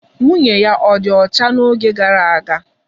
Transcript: Nwunye ya ọdi ọcha n'oge gara aga.